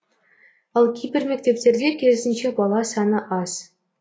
ал кейбір мектептерде керісінше бала саны аз